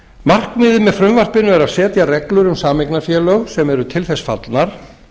markmiðið með frumvarpinu er að setja reglur um sameignarfélög sem eru til þess fallnar